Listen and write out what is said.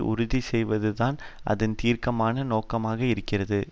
உறுதி செய்வது தான் அதன் தீர்க்கமான நோக்கமாக இருக்கிறது